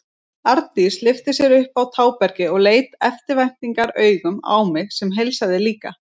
Arndís lyfti sér upp á tábergið og leit eftirvæntingaraugum á mig sem heilsaði líka.